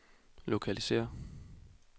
lokalisér